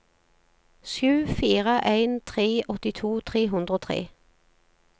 sju fire en tre åttito tre hundre og tre